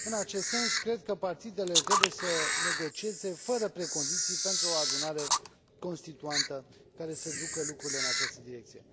În acest sens, cred că partidele trebuie să negocieze, fără precondiții, pentru o adunare constituantă care să ducă lucrurile în această direcție.